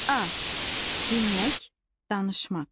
A. Dinmək, danışmaq.